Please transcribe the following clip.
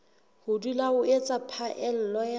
ho dula o etsa phaello